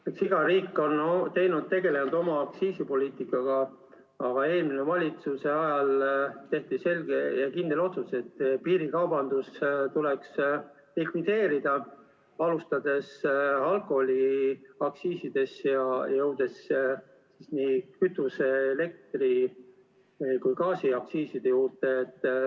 Eks iga riik on tegelenud oma aktsiisipoliitikaga, aga eelmise valitsuse ajal tehti selge ja kindel otsus, et piirikaubandus tuleb likvideerida, alustades alkoholiaktsiisidest ja jõudes lõpuks kütuse-, elektri- ja gaasiaktsiisideni.